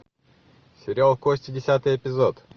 сериал кости десятый эпизод